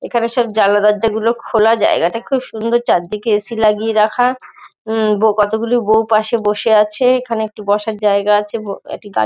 এখানে সব জানলা দরজাগুলো খোলা জায়গাটা খুব সুন্দর। চারদিকে এ. সি. লাগিয়ে রাখা। উম ব কতোগুলো বউ পাশে বসা আছে এখানে একটি বসার জায়গা আছে ব একটি গাড়ি--